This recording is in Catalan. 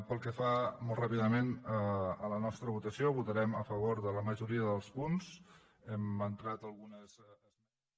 pel que fa molt ràpidament a la nostra votació votarem a favor de la majoria dels punts hem entrat algunes esmenes